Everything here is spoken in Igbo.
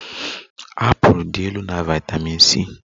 Apụl dị elu na vitamin C